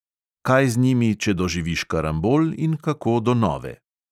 Kaj z njimi, če doživiš karambol, in kako do nove.